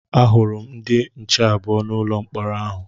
A hụrụ m ndị nche abụọ n'ụlọ mkpọrọ ahụ